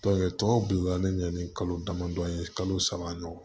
tɔw bilalen ɲɛ ni kalo damadɔ ye kalo saba ɲɔgɔn